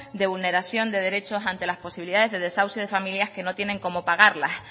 de vulneración de derechos ante las posibilidades de desahucio de familias que no tienen como pagarlas